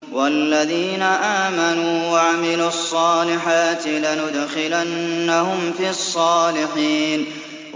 وَالَّذِينَ آمَنُوا وَعَمِلُوا الصَّالِحَاتِ لَنُدْخِلَنَّهُمْ فِي الصَّالِحِينَ